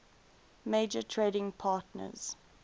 major trading partners